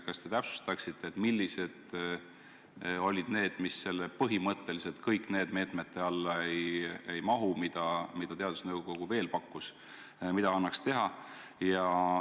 Kas te täpsustaksite, millised olid need meetmed, mis selle fraasi "põhimõtteliselt kõik need meetmed" alla ei mahu, aga mida teadusnõukogu veel pakkus, mida annaks teha?